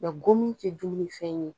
Yan gomi tɛ dumuni fɛn ye.